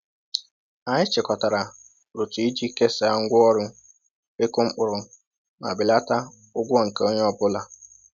Anyị chịkọtara otu iji kesaa ngwa ọrụ ịkụ mkpụrụ ma belata ụgwọ nke onye ọ bụla